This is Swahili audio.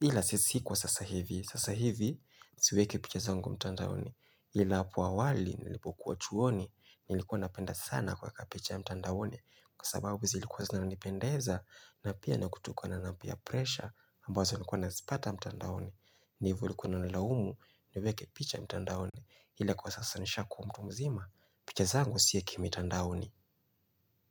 Ila sisi kwa sasa hivi. Sasa hivi, siweke picha zango mtandaoni. Ila apoawali, nilipokuwa chuoni, nilikuwa napenda sana kwa kapicha mtandaoni. Kwa sababu zilikuwa zinanipendeza, na pia nakutukuwa na napia presha, ambazo nikuwa nasipata mtandaoni. Nivu likuwa nilaumu, niluweke picha mtandaoni. Ila kwa sasa nishaku mtumzima, picha zangu siweki mtandaoni.